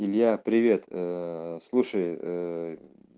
илья привет ээ слушай ээ